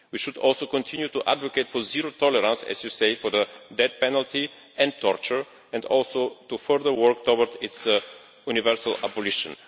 We should also continue to advocate for zero tolerance, as you say, for the death penalty and torture, and also to further work towards their universal abolition.